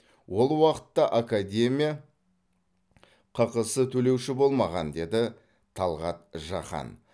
ол уақытта академия ққс төлеуші болмаған деді талғат жақан